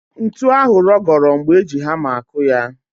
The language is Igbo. Ntu ahụ rọgọrọ mgbe e ji hama akụ ya